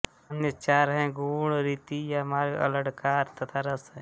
अन्य चार हैं गुण रीति या मार्ग अलङ्कार तथा रस